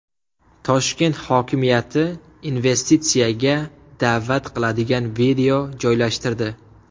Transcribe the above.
Toshkent hokimiyati investitsiyaga da’vat qiladigan video joylashtirdi.